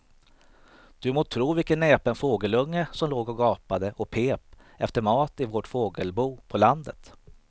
Du må tro vilken näpen fågelunge som låg och gapade och pep efter mat i vårt fågelbo på landet.